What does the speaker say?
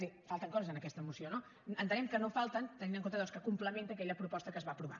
és a dir falten coses en aquesta moció no entenem que no falten tenint en compte doncs que complementa aquella proposta que es va aprovar